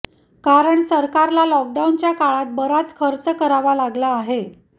कारण सरकारला लॉक डाऊनच्या काळात बराच खर्च करावा लागला आहे